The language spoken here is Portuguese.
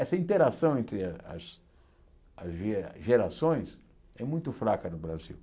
Essa interação entre as as as gera gerações é muito fraca no Brasil.